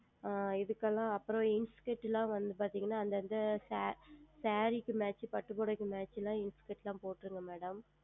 இதுக்கு எல்லாம் அப்புறம் Inskirt எல்லாம் வந்து பார்த்தீர்கள் என்றால் அந்த அந்த Saree க்கு பட்டு புடவைக்கு Inskirt எல்லாம் போட்டுவிடுங்கள் Madam